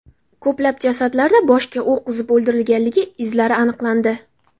Ko‘plab jasadlarda boshga o‘q uzib o‘ldirilganligi izlari aniqlandi.